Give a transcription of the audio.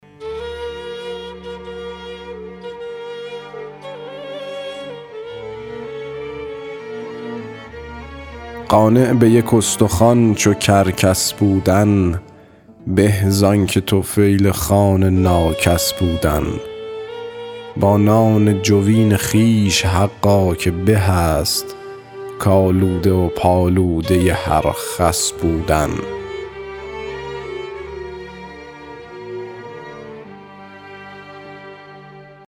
قانع به یک استخوان چو کرکس بودن به زآنکه طفیل خوان ناکس بودن با نان جوین خویش حقا که به است کآلوده و پالوده هر خس بودن